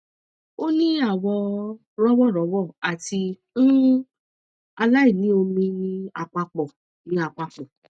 o ni awọ rọwọ rọwọ ati um aláìní omi ni apapọ ni apapọ